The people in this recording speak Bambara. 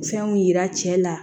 Fɛnw yira cɛ la